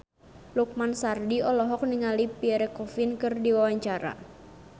Lukman Sardi olohok ningali Pierre Coffin keur diwawancara